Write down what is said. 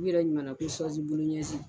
U yɛrɛ ɲuman na ko ɲɛji.